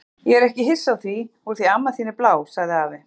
Ég er ekki hissa á því úr því að amma þín er blá, sagði afi.